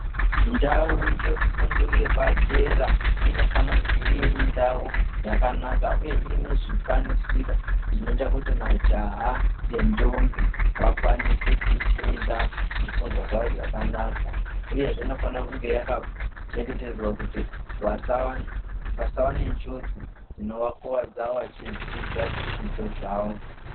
Ndau yefundo yepadera inofana kunge iri ndau yakanaka uye ine zvikwanisiro zvinoita kuti majaha nentombi vakwanise kufunda zvifundwa zvavo zvakanaka uye zvee inofana kunge yakachengetedzwa kuti vasava nenjodzi dzinovakwadza vachidzidza zvidzidzo zvavo.